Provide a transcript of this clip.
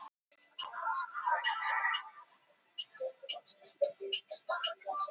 Ég skil við liðið í mjög góðu standi.